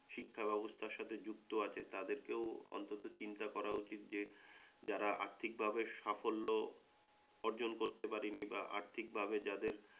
শিক্ষা ব্যবস্থার সাথে যুক্ত আছে তাদেরকেও অন্তত চিন্তা করা উচিৎ যে যারা আর্থিকভাবে সাফল্য অর্জন করতে পারেনি বা আর্থিকভাবে যাদের